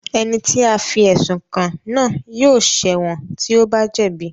Ẹni tí a fí ẹ̀sùn kàn náà yóò ṣẹ̀ wọ̀n tí ó bá jẹ̀bi